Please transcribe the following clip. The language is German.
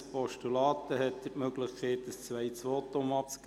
– Er will und hat die Möglichkeit, ein zweites Votum abzugeben.